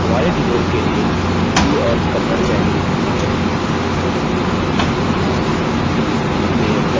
हमारे tutorial के लिए hindi और kannada चयनित होनी चाहिए